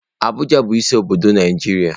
Abuja bu isi obodo Naijiria.